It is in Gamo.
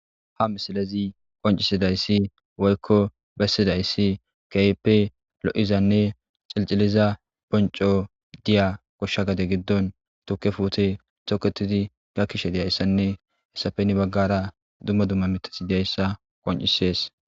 Ha misilezi qoncisidayssi woykko bessidayssi keyppe lo'izanne xilciliza ponco diya koshsha gade giddon tuke fuute toketidi gakkishe diyayssanne hesapeni baggara dumma dumma mitathi deyssa qoncisees.